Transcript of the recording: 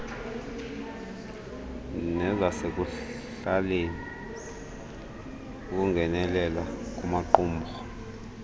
nezasekuhlaleni ukungenelela kumaqumrhu